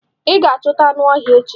Ị ga-achụta anụ ọhịa echi!